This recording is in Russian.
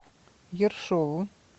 ершову